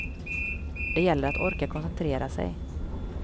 Det gäller att orka koncentrera sig.